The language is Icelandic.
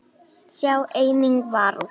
Sjá einnig Varúð.